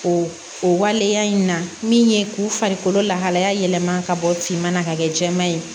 O o waleya in na min ye k'u farikolo lahalaya yɛlɛma ka bɔ finman na ka kɛ jɛman ye